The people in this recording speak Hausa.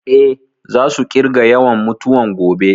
Eh, za su ƙirga yawan mutuwan gobe